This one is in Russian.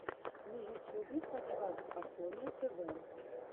на ютюбе подкаст афоня тв